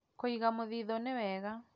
Kũiga mũthithũ nĩ wega